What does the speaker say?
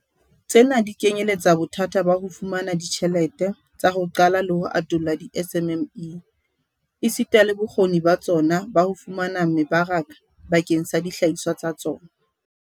Tsena di kenyeletsa bothata ba ho fumana ditjhelete tsa ho qala le ho atolla di-SMME, esita le bokgoni ba tsona ba ho fumana mebaraka bakeng sa dihlahiswa tsa tsona.